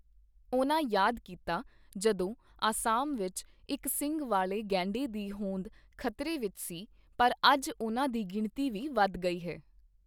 ਉਨ੍ਹਾਂ ਯਾਦ ਕੀਤਾ ਜਦੋਂ ਅਸਾਮ ਵਿੱਚ ਇੱਕ ਸਿੰਙ ਵਾਲੇ ਗੈਂਡੇ ਦੀ ਹੋਂਦ ਖ਼ਤਰੇ ਵਿੱਚ ਸੀ, ਪਰ ਅੱਜ ਉਨ੍ਹਾਂ ਦੀ ਗਿਣਤੀ ਵੀ ਵੱਧ ਗਈ ਹੈ।